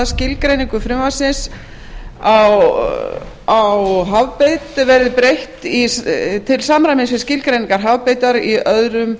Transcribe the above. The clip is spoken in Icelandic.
skilgreiningu frumvarpsins á hafbeit verði breytt til samræmis við skilgreiningar hafbeitar í öðrum